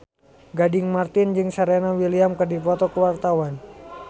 Gading Marten jeung Serena Williams keur dipoto ku wartawan